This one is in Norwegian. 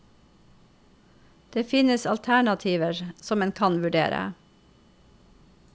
Det finnes alternativer som en kan vurdere.